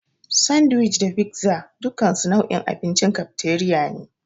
Sandiwic da figza dukansu nau'in abincin kafteriya ne.